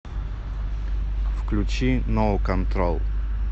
включи ноу контрол